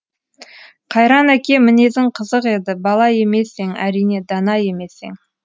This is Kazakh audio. қайран әке мінезің қызық еді бала емес ең әрине дана емес ең